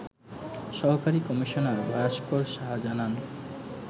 সহকারী কমিশনার ভাস্কর সাহা জানান